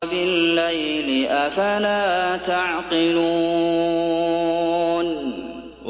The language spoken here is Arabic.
وَبِاللَّيْلِ ۗ أَفَلَا تَعْقِلُونَ